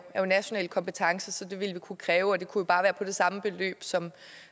national kompetence så det ville vi kunne kræve og det kunne bare være det samme beløb som